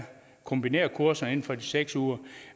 kombinerede kurser inden for de seks uger